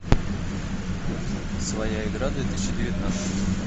своя игра две тысячи девятнадцать